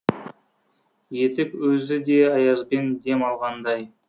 етік өзі де аязбен дем алғандай